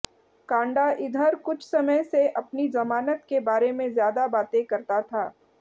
कांडा इधर कुछ समय से अपनी जमानत के बारे में ज्यादा बातें करता था